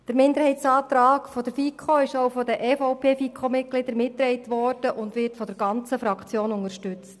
Der Minderheitsantrag der FiKo wurde auch von den EVP-Mitgliedern der FiKo mitgetragen, und er wird von der ganzen Fraktion unterstützt.